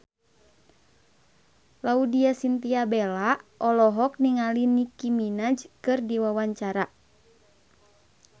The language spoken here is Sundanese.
Laudya Chintya Bella olohok ningali Nicky Minaj keur diwawancara